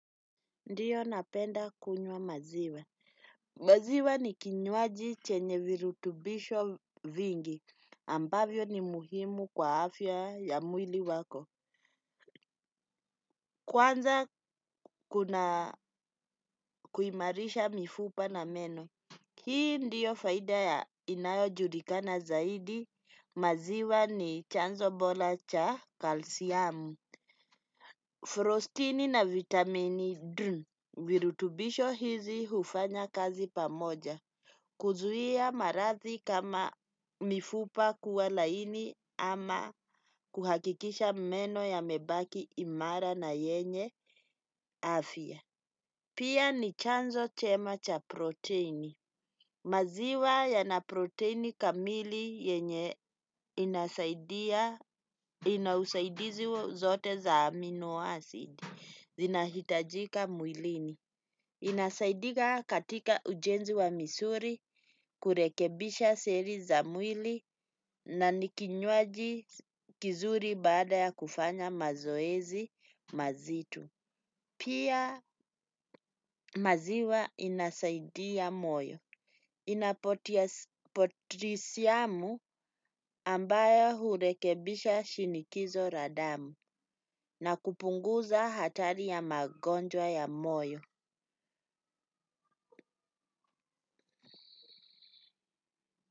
Ndio napenda kunywa maziwa. Maziwa ni kinywaji chenye virutubisho vingi ambavyo ni muhimu kwa afya ya mwili wako. Kwanza kuna kuimarisha mifupa na meno. Hii ndiyo faida ya inayojulikana zaidi. Maziwa ni chanzo bora cha kalsiamu. Frostini na vitamini D. Virutubisho hizi hufanya kazi pamoja. Kuzuia maradhi kama mifupa kuwa laini ama kuhakikisha meno yamebaki imara na yenye afya. Pia ni chanzo chema cha proteini. Maziwa yana proteini kamili yenye inasaidia ina usaidizi zote za amino acid. Zinahitajika mwilini. Inasaidika katika ujenzi wa misuli kurekebisha seli za mwili na ni kinywaji kizuri baada ya kufanya mazoezi mazito. Pia maziwa inasaidia moyo. Ina potisiamu ambayo hurekebisha shinikizo la damu na kupunguza hatari ya magonjwa ya moyo.